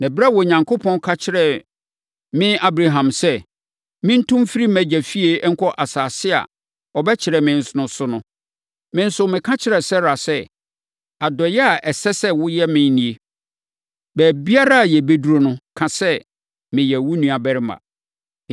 Na ɛberɛ a Onyankopɔn ka kyerɛɛ me Abraham sɛ, mentu mfiri mʼagya fie nkɔ asase a ɔbɛkyerɛ me so no, me nso, meka kyerɛɛ Sara sɛ, ‘Adɔeɛ a ɛsɛ sɛ woyɛ me nie: baabiara a yɛbɛduru no, ka sɛ, meyɛ wo nuabarima.’ ”